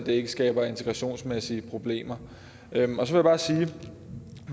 ikke skaber integrationsmæssige problemer så vil